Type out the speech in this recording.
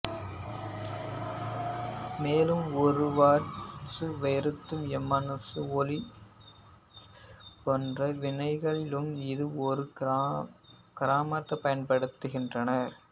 மேலும் ஓர்னர்வாட்சுவொர்த்எம்மான்சு ஒலிஃபீனேற்ற வினைகளிலும் இதை ஒரு காரமாகப் பயன்படுத்துகிறார்கள்